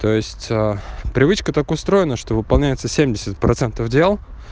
то есть привычка так устроена что выполняется семьдесят процентов дел